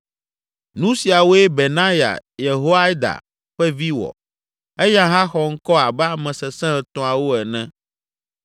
Nu siawoe Benaya, Yehoiada ƒe vi wɔ. Eya hã xɔ ŋkɔ abe ame sesẽ etɔ̃awo ene.